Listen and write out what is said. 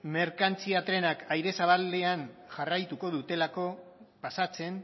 merkantzia trenak aire zabalean jarraituko dutelako pasatzen